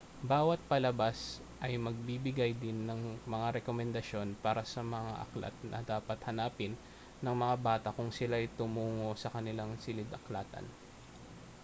bawat palabas ay magbibigay din ng mga rekomendasyon para sa mga aklat na dapat hanapin ng mga bata kung sila'y tumungo sa kanilang silid-aklatan